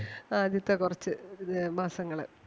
ആദ്യത്തെ കൊറച്ച് അഹ് മാസങ്ങള്.